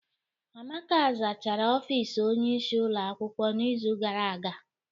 Amaka zachara ofis Onye isi ụlọ akwụkwọ n'izu gara aga.